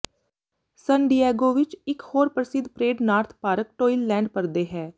ਸਨ Diego ਵਿੱਚ ਇੱਕ ਹੋਰ ਪ੍ਰਸਿੱਧ parade North Park Toyland parade ਹੈ